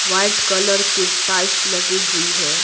White colour की tiles लगी हुई है।